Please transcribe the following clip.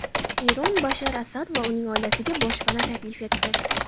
Eron Bashar Asad va uning oilasiga boshpana taklif etdi.